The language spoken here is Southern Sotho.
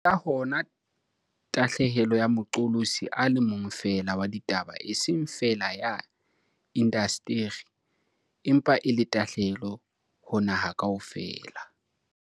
Ke ka hona tahlehelo ya moqolosi a le mong feela wa ditaba eseng feela ya indasteri empa e le tahlehelo ho naha kaofela.